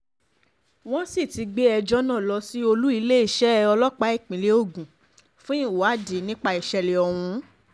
wọ́n sì ti gbé ẹjọ́ náà lọ sí olú iléeṣẹ́ ọlọ́pàá ìpínlẹ̀ ogun fún ìwádìí nípa ìṣẹ̀lẹ̀ ọ̀hún